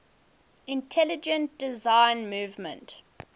intelligent design movement